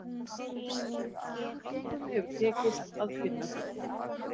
Engum hefur tekist að finna gullið.